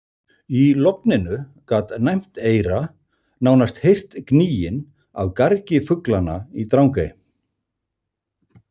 Í logninu gat næmt eyra nánast heyrt gnýinn af gargi fuglanna í Drangey.